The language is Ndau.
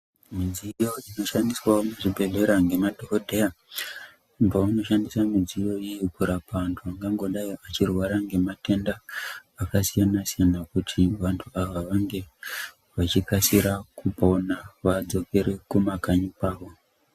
Midziyo inoshandiswa muzvibhedhlera nemadhokodheya pavanoshandisa midziyo iyi kurapa vantu vanenge vachirwara ngematenda akasiyana siyana kuti vantu ava vange vachikasira kupona kuti vadzokere kuma kanyi kwavo.